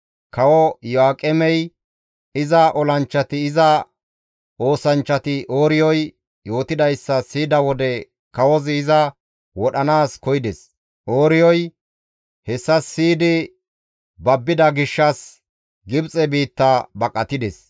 Kawo Iyo7aaqemey, iza olanchchati, iza oosanchchati Ooriyoy yootidayssa siyida wode kawozi iza wodhanaas koyides. Ooriyoy hessa siyidi babbida gishshas Gibxe biitta baqatides.